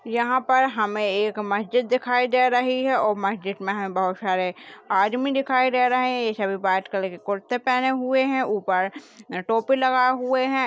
यहा पर हमे एक मस्जिद दिखाई दे रहा है और मस्जिद मे है बहुत सारे आदमी दिखाई दे रहे है सभी व्हाइट कलर की कुर्ते पहने हुए है ऊपर टोपी लगा हुए है।